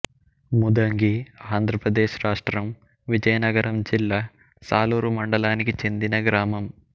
ముదంగిఆంధ్ర ప్రదేశ్ రాష్ట్రం విజయనగరం జిల్లా సాలూరు మండలానికి చెందిన గ్రామం